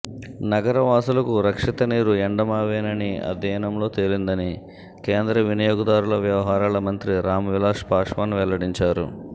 నగర వాసులకు రక్షిత నీరు ఎండమావేనని అధ్యయనంలో తేలిందని కేంద్ర వినియోగదారుల వ్యవహారాల మంత్రి రామ్ విలాస్ పాశ్వాన్ వెల్లడించారు